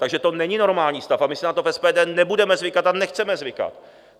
Takže to není normální stav a my si na to v SPD nebudeme zvykat a nechceme zvykat!